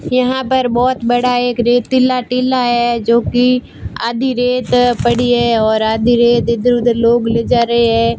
यहां पर बहोत बड़ा एक रेतीला टीला है जोकि आधी रेत पड़ी है और आधी रेत इधर उधर लोग ले जा रहे हैं।